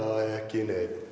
ekki neinn